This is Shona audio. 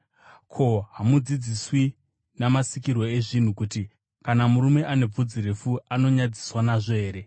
Ko, hamudzidziswi namasikirwo ezvinhu kuti kana murume ane bvudzi refu, anonyadziswa nazvo here,